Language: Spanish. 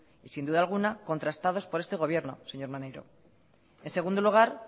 y sin duda alguna contrastados por este gobierno señor maneiro en segundo lugar